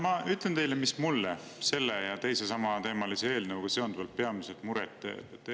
Ma ütlen teile, mis mulle selle ja teise samateemalise eelnõuga seonduvalt peamiselt muret teeb.